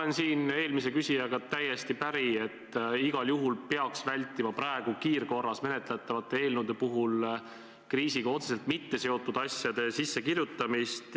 Ma olen eelmise küsijaga täiesti päri, et igal juhul peaks vältima praegu kiirkorras menetletavate eelnõude puhul kriisiga otseselt mitteseotud asjade sissekirjutamist.